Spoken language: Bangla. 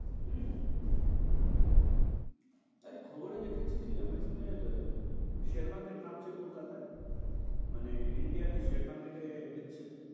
হম এই খবরে দেখেছি কী আমি শোনের share market নাবছে কলকাতায়? মানে India তে share market এ দিচ্ছে?